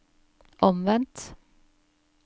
omvendt